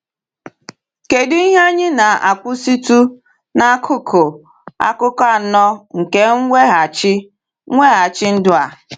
Kedu ihe anyị na-akwụsịtụ n’akụkụ akụkọ anọ nke mweghachi mweghachi ndụ a?